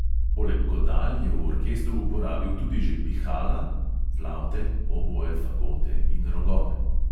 Poleg godal je v orkestru uporabil tudi že pihala (flavte, oboe, fagote in rogove).